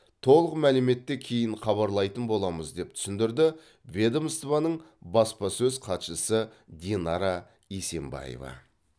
толық мәліметті кейін хабарлайтын боламыз деп түсіндірді ведомствоның баспасөз хатшысы динара есенбаева